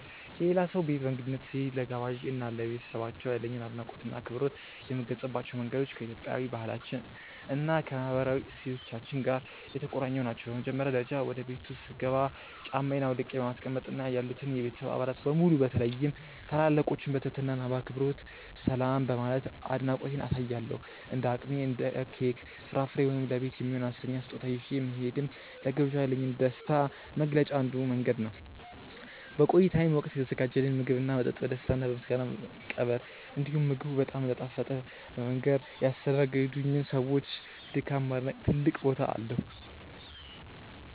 የሌላ ሰው ቤት በእንግድነት ስሄድ፣ ለጋባዤ እና ለቤተሰባቸው ያለኝን አድናቆትና አክብሮት የምገልጽባቸው መንገዶች ከኢትዮጵያዊ ባህላችን እና ከማህበራዊ እሴቶቻችን ጋር የተቆራኙ ናቸው። በመጀመሪያ ደረጃ፣ ወደ ቤቱ ስገባ ጫማዬን አውልቄ በማስቀመጥ እና ያሉትን የቤተሰብ አባላት በሙሉ በተለይም ታላላቆችን በትህትና እና በአክብሮት ሰላም በማለት አድናቆቴን አሳያለሁ። እንደ አቅሜ እንደ ኬክ፣ ፍራፍሬ ወይም ለቤት የሚሆን አነስተኛ ስጦታ ይዤ መሄድም ለግብዣው ያለኝን ደስታ መግለጫ አንዱ መንገድ ነው። በቆይታዬም ወቅት የተዘጋጀልኝን ምግብና መጠጥ በደስታ እና በምስጋና መቀበል፣ እንዲሁም ምግቡ በጣም እንደጣፈጠ በመንገር ያስተናገዱኝን ሰዎች ድካም ማድነቅ ትልቅ ቦታ አለው።